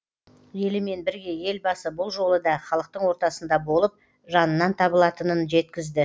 елімен бірге елбасы бұл жолы да халықтың ортасында болып жанынан табылатынын жеткізді